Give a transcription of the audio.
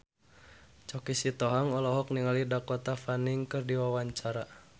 Choky Sitohang olohok ningali Dakota Fanning keur diwawancara